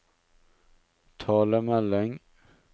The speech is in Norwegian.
talemelding